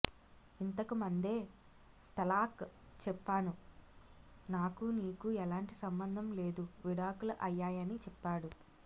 ఇంతకు మందే తలాక్ చెప్పాను నాకూ నీకూ ఎలాంటి సంబంధం లేదు విడాకుల అయ్యాయని చెప్పాడు